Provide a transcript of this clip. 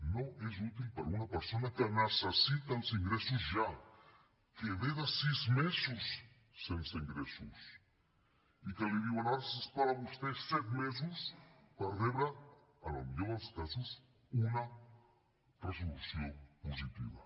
no és útil per a una persona que necessita els ingressos ja que ve de sis mesos sense ingressos i que li diuen ara s’ha d’esperar vostè set mesos per rebre en el millor dels casos una resolució positiva